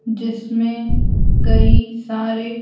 जिसमें कई सारे।